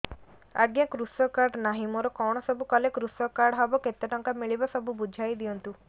ଆଜ୍ଞା କୃଷକ କାର୍ଡ ନାହିଁ ମୋର କଣ ସବୁ କଲେ କୃଷକ କାର୍ଡ ହବ କେତେ ଟଙ୍କା ମିଳିବ ସବୁ ବୁଝାଇଦିଅନ୍ତୁ